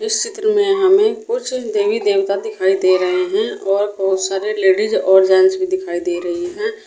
इस चित्र में हमें कुछ देवी देवता दिखाई दे रहे हैं और बहुत सारे लेडिस और जेंट्स भी दिखाई दे रही हैं।